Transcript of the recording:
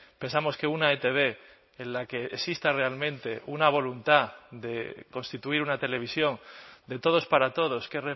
pensamos que una etb en la que exista realmente una voluntad de constituir una televisión de todos para todos que